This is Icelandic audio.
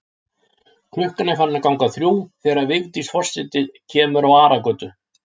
Klukkan er farin að ganga þrjú þegar Vigdís forseti kemur á Aragötu.